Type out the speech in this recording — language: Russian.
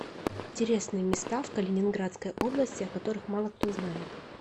интересные места в калининградской области о которых мало кто знает